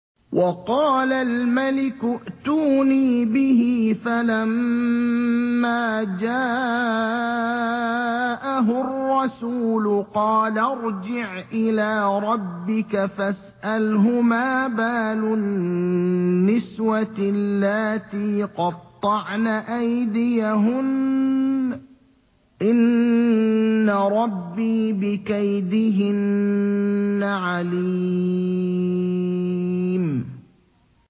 وَقَالَ الْمَلِكُ ائْتُونِي بِهِ ۖ فَلَمَّا جَاءَهُ الرَّسُولُ قَالَ ارْجِعْ إِلَىٰ رَبِّكَ فَاسْأَلْهُ مَا بَالُ النِّسْوَةِ اللَّاتِي قَطَّعْنَ أَيْدِيَهُنَّ ۚ إِنَّ رَبِّي بِكَيْدِهِنَّ عَلِيمٌ